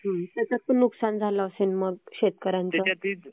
त्याच्यात पण नुकसान झालं असेल मग शेतकऱ्यांचं.